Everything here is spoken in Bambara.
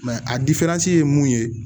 a ye mun ye